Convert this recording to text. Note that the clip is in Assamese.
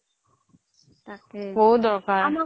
বহুত দৰকাৰ